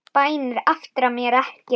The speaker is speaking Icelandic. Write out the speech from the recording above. Bænir aftra mér ekki.